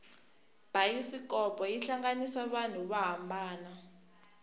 bayisikopo yi hlanganisa vanhu vo hambanana